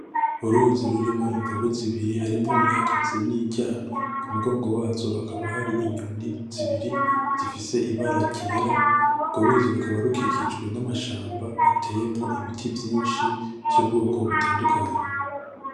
Uruzi rurimwo imvubu zibiri harimwo iyihagaze n’iyiryamye ku mugongo wazo hakaba hari inyoni zibiri zifise ibara ryera. Urwo ruzi rukaba rukikijwe n’amashamba ateyemwo ibiti byinshi by’ubwoko butandukanye.